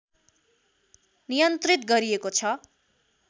नियन्त्रित गरिएको छ